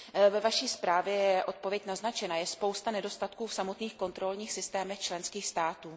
Ve zprávě je odpověď naznačena, je spousta nedostatků v samotných kontrolních systémech členských států.